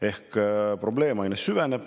Ehk probleem aina süveneb.